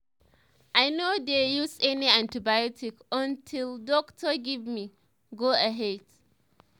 i no dey use any antibiotic until doctor give me go-ahead.